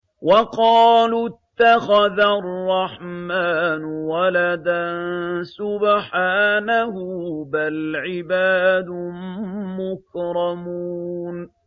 وَقَالُوا اتَّخَذَ الرَّحْمَٰنُ وَلَدًا ۗ سُبْحَانَهُ ۚ بَلْ عِبَادٌ مُّكْرَمُونَ